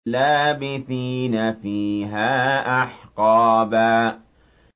لَّابِثِينَ فِيهَا أَحْقَابًا